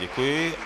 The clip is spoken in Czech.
Děkuji.